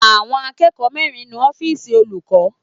Àwọn akẹ́kọ̀ọ́ mẹrin nu ọ́fìsì olùkọ́.